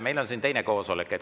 Meil on siin koosolek.